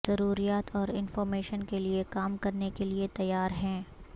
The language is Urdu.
ضروریات اور انفارمیشن کے لئے کام کرنے کے لئے تیار ہیں